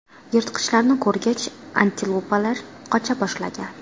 Yirtqichlarni ko‘rgach, antilopalar qocha boshlagan.